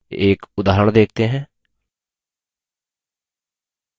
एक उदाहरण देखते हैं